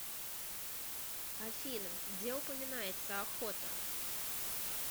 афина где упоминается охота